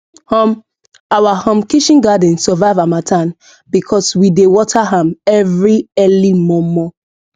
um our um kitchen garden survive harmattan because we dey water am every early mor mor